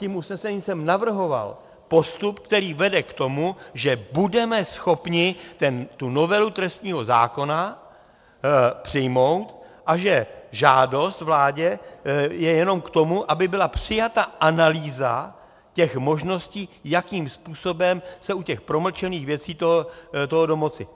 Tím usnesením jsem navrhoval postup, který vede k tomu, že budeme schopni tu novelu trestního zákona přijmout a že žádost vládě je jenom k tomu, aby byla přijata analýza těch možností, jakým způsobem se u těch promlčených věcí toho domoci.